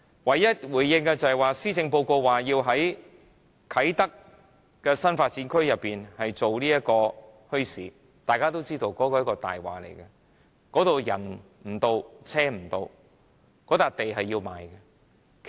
唯一的回應，是施政報告提議在啟德新發展區舉辦墟市，大家都知道那是一個謊話，那裏人不到、車不到，那幅地是要賣的。